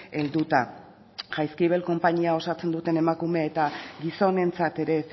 helduta jaizkibel konpainia osatzen duten emakume eta gizonentzat ere